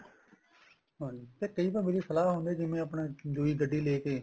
ਹਾਂਜੀ ਤੇ ਕਈ ਵਾਰ ਮੈਰੀ ਸਲਾਹ ਹੁੰਦੀ ਏ ਜਿਵੇਂ ਆਪਣਾ ਦੂਜੀ ਗੱਡੀ ਲੈਕੇ